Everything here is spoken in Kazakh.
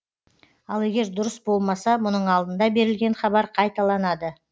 ал егер дұрыс болмаса мұның алдында берілген хабар қайталанады